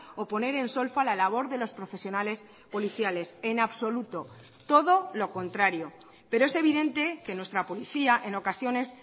o poner en solfa la labor de los profesionales policiales en absoluto todo lo contrario pero es evidente que nuestra policía en ocasiones